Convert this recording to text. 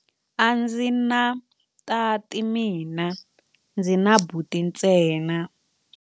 A ndzi na tati mina, ndzi na buti ntsena.